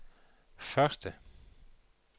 første